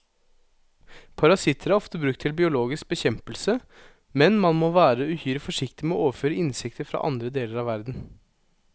Parasitter er ofte brukt til biologisk bekjempelse, men man må være uhyre forsiktig med å overføre insekter fra andre deler av verden.